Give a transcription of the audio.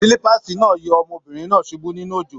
Silipaasi náà yọ ọmọbìnrin náà subú nínú òjò.